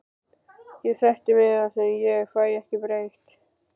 Ég sætti mig við það sem ég fæ ekki breytt.